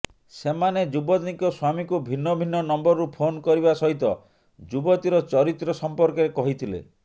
ସେମାନେ ଯୁବତୀଙ୍କ ସ୍ୱାମୀଙ୍କୁ ଭିନ୍ନ ଭିନ୍ନ ନମ୍ବରରୁ ଫୋନ କରିବା ସହିତ ଯୁବତୀର ଚରିତ୍ର ସମ୍ପର୍କରେ କହିଥିଲେ